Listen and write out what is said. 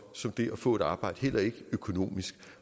som det at få et arbejde heller ikke økonomisk